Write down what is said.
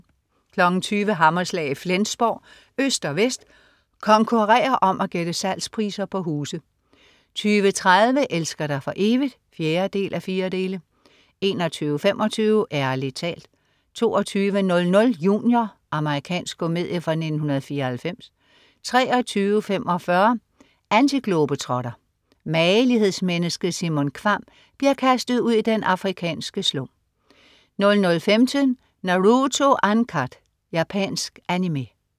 20.00 Hammerslag i Flensborg. Øst og vest konkurrerer om at gætte salgspriser på huse 20.30 Elsker dig for evigt? 4:4 21.25 Ærlig talt 22.00 Junior. Amerikansk komedie fra 1994 23.45 Antiglobetrotter. Magelighedsmennesket Simon Kvamm bliver kastet ud i den afrikanske slum 00.15 Naruto Uncut. Japansk Animé